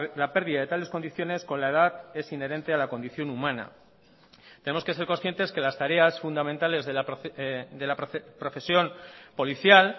la pérdida de tales condiciones con la edad es inherente a la condición humana tenemos que ser conscientes que las tareas fundamentales de la profesión policial